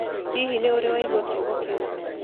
Hihi nĩ ũrĩ waigua kiugo kĩu?